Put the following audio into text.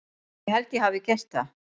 Ég held að ég hafi gert það.